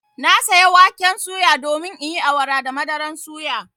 Na saya waken suya domin in yi awara da madaran suya.